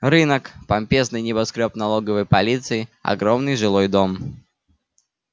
рынок помпезный небоскрёб налоговой полиции огромный жилой дом